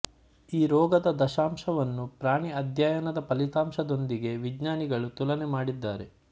ಈ ರೋಗದ ದತ್ತಾಂಶವನ್ನು ಪ್ರಾಣಿ ಅಧ್ಯಯನದ ಫಲಿತಾಂಶದೊಂದಿಗೆ ವಿಜ್ಞಾನಿಗಳು ತುಲನೆ ಮಾಡಿದ್ದಾರೆ